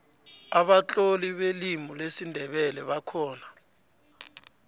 abatloli belimi lesindebele bakhona